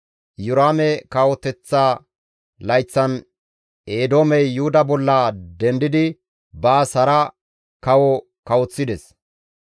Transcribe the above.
Iyoraame kawoteththa layththan Eedoomey Yuhuda bolla dendidi baas hara kawo kawoththides.